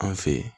An fe yen